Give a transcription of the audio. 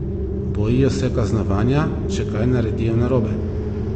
Bojijo se kaznovanja, če kaj naredijo narobe.